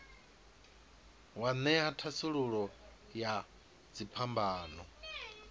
wa ṅea thasululo ya dziphambano